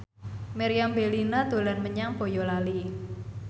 Meriam Bellina dolan menyang Boyolali